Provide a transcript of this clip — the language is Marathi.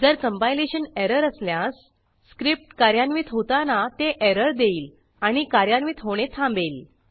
जर कंपायलेशन एरर असल्यास स्क्रिप्ट कार्यान्वित होताना ते एरर देईल आणि कार्यान्वित होणे थांबेल